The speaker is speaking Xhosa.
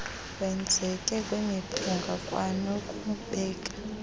wenzeke kwimiphunga kwanokubeka